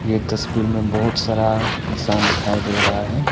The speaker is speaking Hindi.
ये तस्वीर में बहोत सारा इंसान दिखाई दे रहा है।